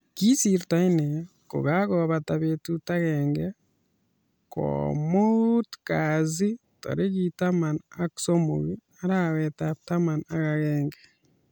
Kisiirto inne kokakobata betut agenge komuut kasi tarik taman ak somok arawetab taman ak agenge